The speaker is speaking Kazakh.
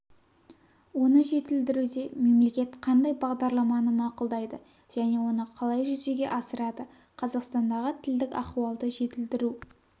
оны жетілдіруде мемлекет қандай бағдарламаны мақұлдайды және оны қалай жүзеге асырады қазақстандағы тілдік ахуалды жетілдіру